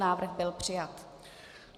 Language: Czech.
Návrh byl přijat.